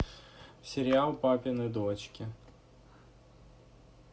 сериал папины дочки